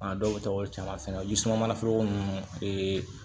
A dɔw bɛ taa o caman fɛnɛ olu sumana foroko ninnu bɛɛ ye